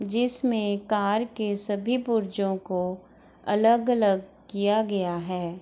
जिसमें कार के सभी पुर्जियों को अलग-अलग किया गया है।